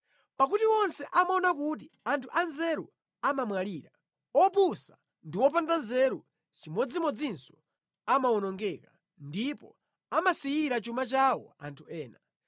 Pakuti onse amaona kuti anthu anzeru amamwalira; opusa ndi opanda nzeru chimodzimodzinso amawonongeka ndipo amasiyira chuma chawo anthu ena.